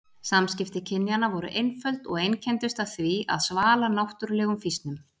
Samskipti kynjanna voru einföld og einkenndust af því að svala náttúrulegum fýsnum.